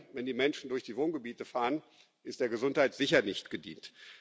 Wenn die Menschen durch die Wohngebiete fahren, ist der Gesundheit sicher nicht gedient.